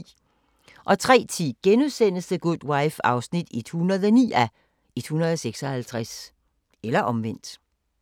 03:10: The Good Wife (109:156)*